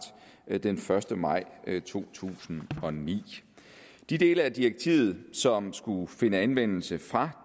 den første maj to tusind og ni de dele af direktivet som skulle finde anvendelse fra